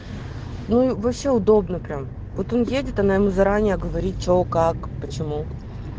ну вообще удобно прямо вот он едет она ему заранее говорит что как почему